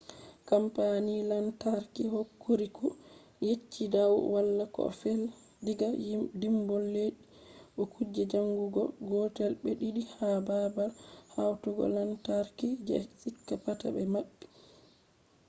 kampani lantarki hokuriku yecci dau wala ko fe'i diga dimbol leddi bo kuje chanjugo gotel be ɗiɗi ha babal hautugo lantarki je shika pat ɓe maɓɓi